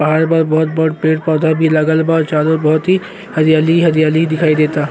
पहाड़ बा। बहुत बड़ पेड़-पौधा भी लागल बा। चारों ओर बहुत ही हरियाली ही हरियाली दिखाई देता।